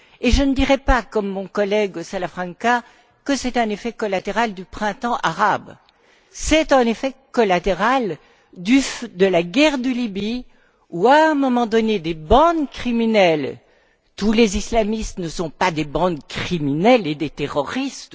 Je ne dirais pas, comme mon collègue Salafranca, que c'est un effet collatéral du printemps arabe. C'est un effet collatéral de la guerre de Libye où, à un moment donné, des bandes criminelles tous les islamistes ne sont pas des bandes criminelles et des terroristes